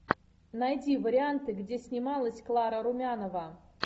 найди варианты где снималась клара румянова